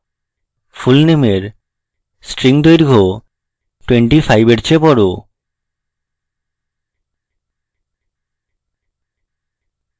fullname string দৈর্ঘ্য 25 এর চেয়ে বড়